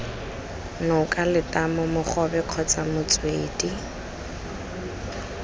noka letamo mogobe kgotsa motswedi